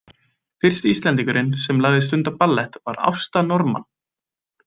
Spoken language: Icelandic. Fyrsti Íslendingurinn sem lagði stund á ballett var Ásta Norman.